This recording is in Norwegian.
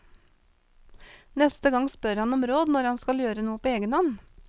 Neste gang spør han om råd når han skal gjøre noe på egenhånd.